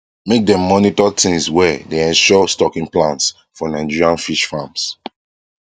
make dem monitor things well dey ensure stocking plans for nigerian fish farms